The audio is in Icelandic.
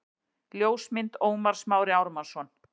Ljósmynd: Ómar Smári Ármannsson